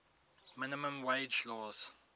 minimum wage laws